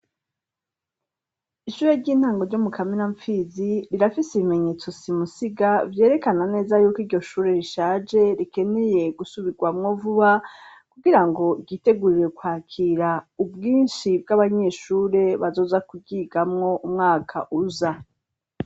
Ishure ry'intango ryo mu Kamenampfizi, rirafise ibimenyetso simusiga, vyerekana neza yuko iryo shure rishaje, rikeneye gusubirwamwo vuba, kugirango ryitegurire kwakira ubwinshi bw'abanyeshure bazoza kuryigamwo umwaka uza.